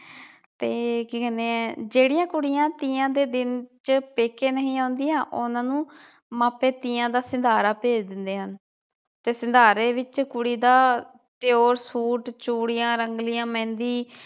ਤੇ ਅਹ ਕੀ ਕਹਿਣੇ ਏ ਜਿਹੜੀਆਂ ਕੁੜੀਆਂ ਤੀਆਂ ਦੇ ਦਿਨ ਚ ਪੇਕੇ ਨਹੀਂ ਆਉਂਦੀਆਂ ਉਹਨਾਂ ਨੂੰ ਮਾਪੇ ਤੀਆਂ ਦਾ ਸੰਧਾਰਾ ਭੇਜ ਦਿੰਦੇ ਹਨ। ਤੇ ਸੰਧਾਰੇ ਵਿਚ ਕੁੜੀ ਦਾ ਪਿਉਰ ਸੂਟ, ਚੂੜੀਆਂ ਰੰਗਲੀਆਂ, ਮਹਿੰਦੀ